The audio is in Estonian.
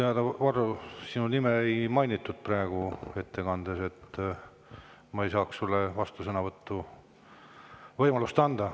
Minu teada, Varro, sinu nime ei mainitud praegu ettekandes, nii et ma ei saa sulle vastusõnavõtuks võimalust anda.